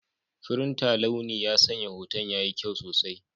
Firinta launi ya sanya hoton yayi kyau sosai.